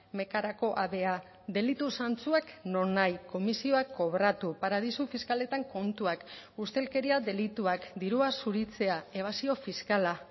mecarako avea delitu zantzuak nonahi komisioak kobratu paradisu fiskaletan kontuak ustelkeria delituak dirua zuritzea ebasio fiskala